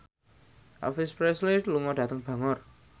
Elvis Presley lunga dhateng Bangor